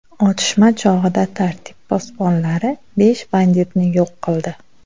Otishma chog‘ida tartib posbonlari besh banditni yo‘q qildi.